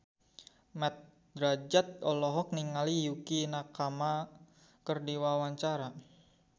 Mat Drajat olohok ningali Yukie Nakama keur diwawancara